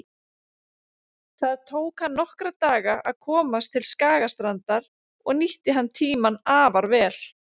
Það tók hann nokkra daga að komast til Skagastrandar og nýtti hann tímann afar vel.